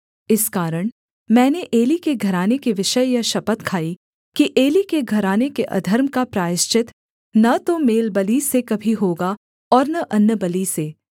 इस कारण मैंने एली के घराने के विषय यह शपथ खाई कि एली के घराने के अधर्म का प्रायश्चित न तो मेलबलि से कभी होगा और न अन्नबलि से